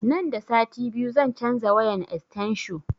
Nan da sati biyu zan canza wayan estensho